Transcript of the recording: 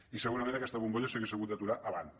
i segurament aquesta bombolla s’hauria hagut d’aturar abans